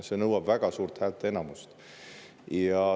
See nõuab väga suurt häälteenamust.